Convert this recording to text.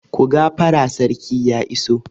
Ku gafara sarki ya iso!